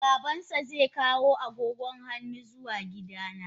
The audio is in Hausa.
Babansa zai kawo agogon hannu zuwa gidana.